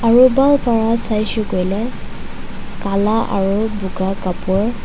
aru ban para saise koile kala aru boga kapor--